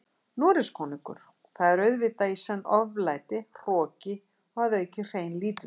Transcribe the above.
Noregskonungur, það er auðvitað í senn oflæti, hroki og að auki hrein lítilsvirðing.